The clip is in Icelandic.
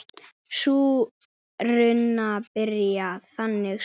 Sú runa byrjar þannig svona